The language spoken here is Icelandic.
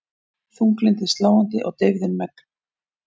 Þunglyndið sláandi og deyfðin megn.